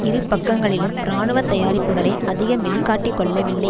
இரு பக்கங்களிலும் இராணுவ தயாரிப்புக்களை அதிகம் வெளி காட்டி கொள்ளவில்லை